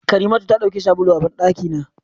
Karimatu ta dauki sabulun a bandaki na.